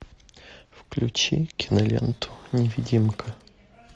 включи киноленту невидимка